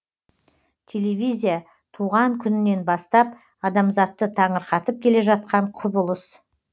телевизия туған күнінен бастап адамзатты таңырқатып келе жатқан құбылыс